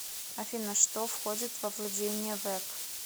афина что входит во владения вэб